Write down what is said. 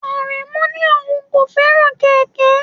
Aremu ní òun kò fẹ́ràn kẹ̀kẹ́.